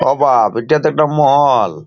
ও বাব এটা তো একটা মহল।